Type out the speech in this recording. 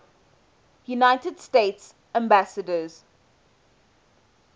united states ambassadors